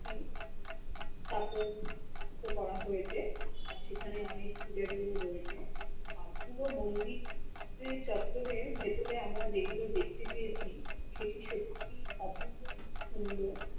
টি তাপর তো করা হয়েছে সেখানে অনেক রয়েছে আর পুরো মন্দির রে চত্বরের ভেতরে আমরা যেগুলো দেখতে পেয়েছি সেটি সত্যি অপূর্ব সুন্দর